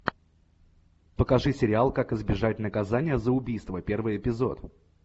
покажи сериал как избежать наказания за убийство первый эпизод